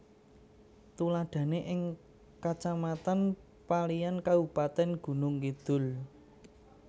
Tuladhané ing Kacamatan Paliyan Kabupatén Gunung Kidul